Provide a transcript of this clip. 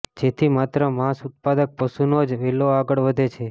જેથી માત્ર માંસ ઉત્પાદક પશુનો જ વેલો આગળ વધે છે